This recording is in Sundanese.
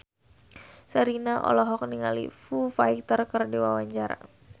Sherina olohok ningali Foo Fighter keur diwawancara